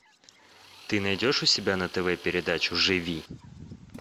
ты найдешь у себя на тв передачу живи